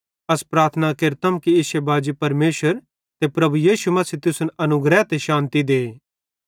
अस प्रार्थना केरतम कि इश्शे बाजी परमेशर ते प्रभु यीशु मसीह तुसन अनुग्रह ते शान्ति दे